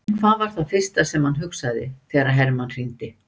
En hvað var það fyrsta sem hann hugsaði þegar Hermann hringdi?